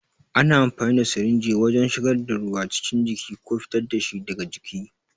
Ana amfani da sirinji wajen shigar da ruwa cikin jiki ko fitar da shi daga jiki.